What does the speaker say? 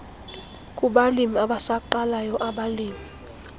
kubalimi abasaqalayo abalimi